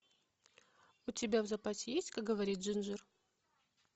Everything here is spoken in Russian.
у тебя в запасе есть как говорит джинджер